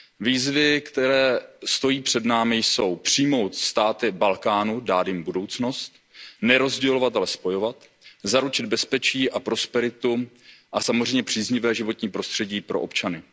Výzvy, které stojí před námi, jsou přijmout státy Balkánu, dát jim budoucnost, nerozdělovat, ale spojovat, zaručit bezpečí a prosperitu a samozřejmě příznivé životní prostředí pro občany.